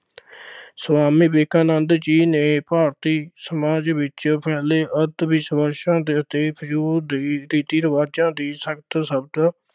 ਸੁਆਮੀ ਵਿਵੇਕਾਨੰਦ ਜੀ ਨੇ ਭਾਰਤੀ ਸਮਾਜ ਵਿੱਚ ਫੈਲੇ ਅੰਧਵਿਸ਼ਵਾਸਾਂ ਦੇ ਅਤੇ ਫ਼ਜ਼ੂਲ ਦੇ ਰੀਤੀ ਰਿਵਾਜਾਂ ਦੀ ਸਖਤ ਸ਼ਬਦ